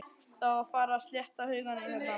Það á að fara að slétta haugana hérna